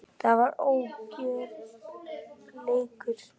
Það var ójafn leikur.